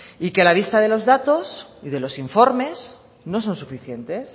y que a la vista de los datos y de los informes no son suficientes